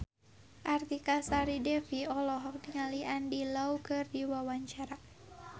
Artika Sari Devi olohok ningali Andy Lau keur diwawancara